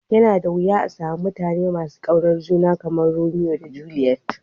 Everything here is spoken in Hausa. Ya na da wiya a'samu mutane masu Kyautan juna kamar Romeo da Juliet.